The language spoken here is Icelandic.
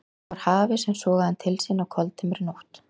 Það var hafið sem sogaði hann til sín á koldimmri nótt.